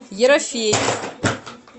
ерофеев